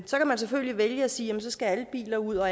så kan man selvfølgelig vælge at sige at så skal alle biler ud og